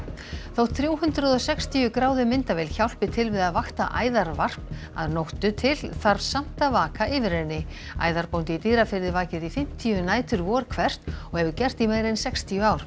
þótt þrjú hundruð og sextíu gráðu myndavél hjálpi til við að vakta æðarvarp að nóttu til þarf samt að vaka yfir henni æðarbóndi í Dýrafirði vakir í fimmtíu nætur vor hvert og hefur gert í meira en sextíu ár